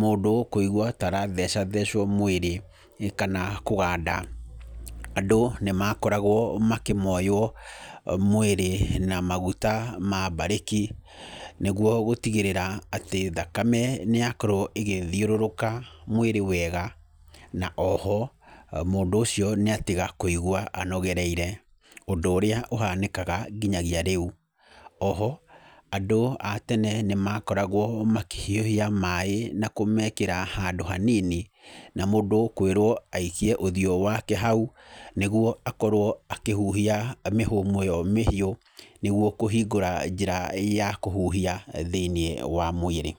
mũndũ kũigua ta arathecathecwo mwĩrĩ, kana kũganda. Andũ nĩ makoragwo makĩmoywo mwĩrĩ na maguta ma mbarĩki, nĩguo gũtigĩrĩra atĩ thakame nĩ yakorwo ĩgĩthiũrũrũka mwĩrĩ wega. Na oho, mũndũ ũcio nĩ atiga kũigua anogereire, ũndũ ũrĩa ũhanĩkaga nginyagia rĩu. Oho, andũ a tene nĩ makoragwo makĩhiũhia maaĩ na kũmekĩra handũ hanini, na mũndũ kwĩrwo aikie ũthiũ wake hau, nĩguo akorwo akĩhuhia mĩhũmũ ĩyo mĩhiũ, nĩguo kũhingũra njĩra ya kũhuhia thĩiniĩ wa mwĩrĩ.